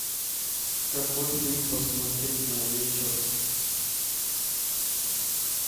какой фильм посмотреть на вечер